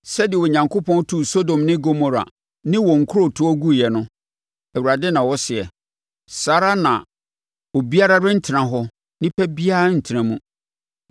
Sɛdeɛ Onyankopɔn tuu Sodom ne Gomora ne wɔn nkurotoɔ guiɛ no,” Awurade na ɔseɛ, “saa ara na obiara rentena hɔ; onipa biara rentena mu.